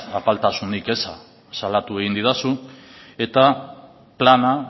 apaltasun eza salatu egin didazu eta plana